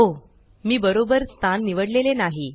ओहो मी बरोबर स्थान निवडलेले नाही